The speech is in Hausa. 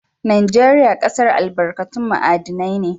Najeriya ƙasar albarkatun ma'adinai ne.